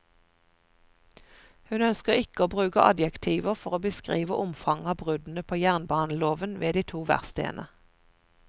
Hun ønsker ikke å bruke adjektiver for å beskrive omfanget av bruddene på jernbaneloven ved de to verkstedene.